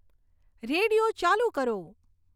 radio ચાલુ કરો